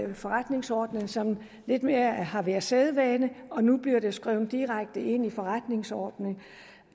med forretningsordenen som lidt mere har været sædvane og nu bliver de skrevet direkte ind i forretningsordenen